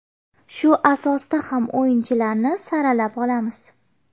Shu asosda ham o‘yinchilarni saralab olamiz.